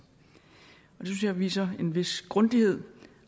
synes jeg viser en vis grundighed